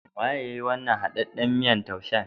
Waye yayi wannan haɗaɗɗan miyan taushen?